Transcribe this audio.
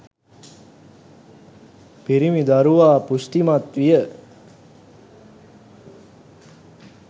පිරිමි දරුවා පුෂ්ටිමත් විය.